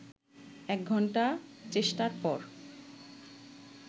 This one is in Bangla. ১ ঘন্টা চেষ্টার পর